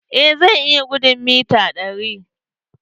Eh zan iya gudun mita ɗari.